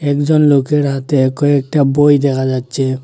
একজন লোকের হাতে কয়েকটা বই দেখা যাচ্ছে।